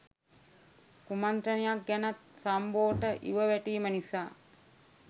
කුමන්ත්‍රණයක් ගැනත් රම්බෝට ඉව වැටීම නිසා